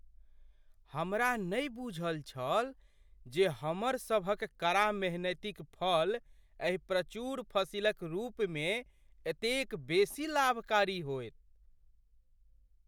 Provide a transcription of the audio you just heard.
हमरा नहि बूझल छल जे हमर सभक कड़ा मेहनतिक फल एहि प्रचुर फसिलक रूपमे एतेक बेसी लाभकारी होयत।